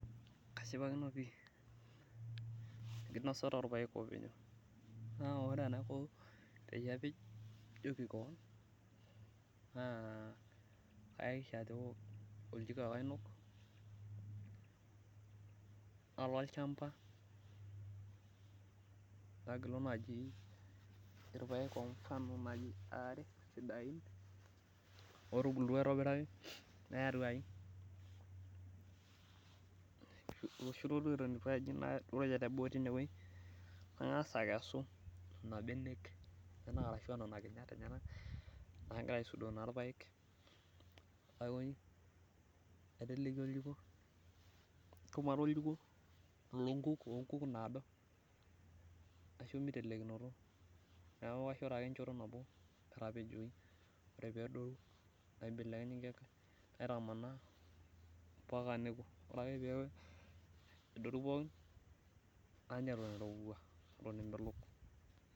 kashipakino pi enkinosata oo ilpayek oo pejo, ore peyie apej naa oljiko ake ainok, nalo olchamba nagilu ilpayek aare otubulutua aitobiraki naya atuaji, nairajie teboo tineweji nagas akinyu inkinyat, naiteleki shumata oljiko loo ikuk daado neeku kaibekej ake ampaka neku, ore ake pee eku nanya iroowua.